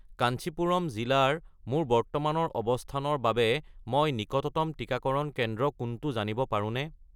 কাঞ্চীপুৰম জিলাৰ মোৰ বৰ্তমানৰ অৱস্থানৰ বাবে মই নিকটতম টিকাকৰণ কেন্দ্ৰ কোনটো জানিব পাৰোঁনে?